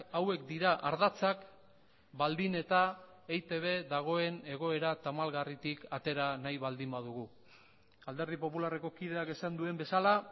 hauek dira ardatzak baldin eta eitb dagoen egoera tamalgarritik atera nahi baldin badugu alderdi popularreko kideak esan duen bezala